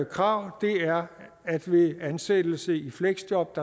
krav er at ved ansættelse i fleksjob